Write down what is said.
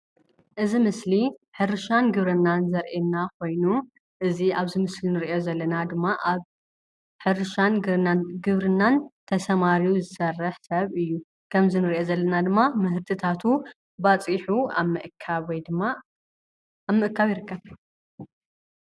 እዚ ምስሊ ሕርሻን ግብርናን ዘርኤና ኾይኑ፣ እዚ ኣብ ምስሊ እንሪኦ ዘለና ድም ኣብ ሕርሻን ግብ ግብርናን ተሰማሪዩ ዝሰርሕ ሰብ እዩ። ከምዚ እንሪኦ ዘለና ድማ ምህርቲታቱ ባፂሑ ኣብ ምእካብ ወይ ድማ ኣብ ምስካብ ይርከብ።